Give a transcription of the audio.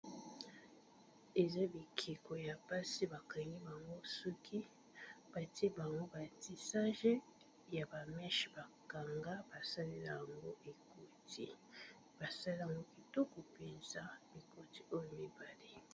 Eza bikeko ya basi ba kangi bango suki ba tié ie bango ba tissages ya ba mèches, ba kanga ba salela yango ekoti basaleli yango kitoko penza bikoti oyo mibale .